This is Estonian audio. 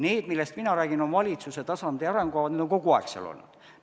Need, millest mina räägin, on valitsuse tasandi arengukavad, need on kogu aeg valitsuse tasandil olnud.